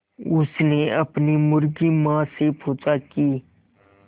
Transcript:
उसने अपनी मुर्गी माँ से पूछा की